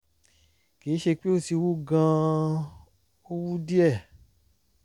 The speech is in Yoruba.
kì í ṣe pé ó ti wú gan-an ó wú díẹ̀